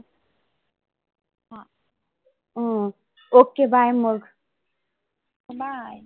हम्म ok bye मग bye